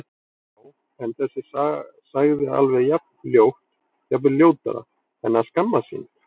Já- en þessi sagði alveg jafn ljótt, jafnvel ljótara En að skammast sín?